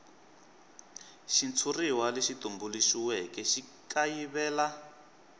xitshuriwa lexi tumbuluxiweke xi kayivela